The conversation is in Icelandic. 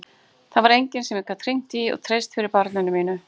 Það var enginn sem ég gat hringt í og treyst fyrir barninu mínu.